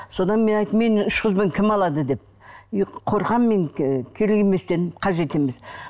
содан мен айттым мені үш қызбен кім алады деп үй қорқамын мен керек емес дедім қажет емес